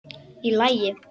Í lagi?